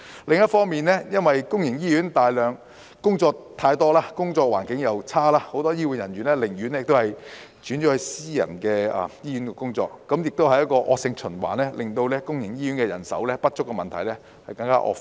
另一方面，因為公營醫院工作太多，工作環境差，很多醫護人員寧願轉投私營醫院，形成惡性循環，令公營醫院人手不足的問題更惡化。